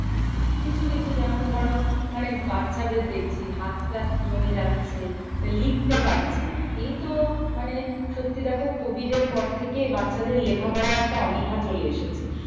কিছু কিছু যেমন ধরো মানে বাচ্চাদের দেখছি হাত পা জমে যাচ্ছে। লিখতে পারছে না। একেই তো মানে সত্যি দেখো covid এর পর থেকেই বাচ্চাদের লেখা পড়ায় একটা অনীহা চলে এসেছে।